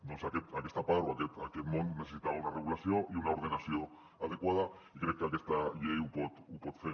doncs aquesta part o aquest món necessitava una regulació i una ordenació adequada i crec que aquesta llei ho pot fer